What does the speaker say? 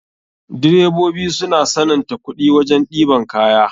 Direbobi suna sananta kuɗi wajen ɗeban kaya.